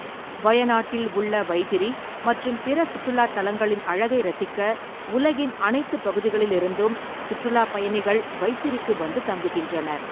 வயநாட்டில் உள்ள வைதிரி மற்றும் பிற சுற்றுலாத் தலங்களின் அழகை ரசிக்க உலகின் அனைத்துப் பகுதிகளிலிருந்தும் சுற்றுலாப் பயணிகள் வைத்திரிக்கு வந்து தங்குகின்றனர்.